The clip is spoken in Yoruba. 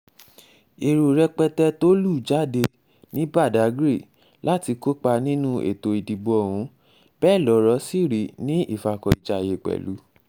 èrò rẹpẹtẹ tó lù jáde ní badáy láti kópa nínú ètò ìdìbò ohun bẹ́ẹ̀ lọ̀rọ̀ sì rí ní ìfàkọ̀ìjayé pẹ̀lú